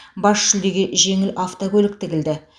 бас жүлдеге жеңіл автокөлік тігілді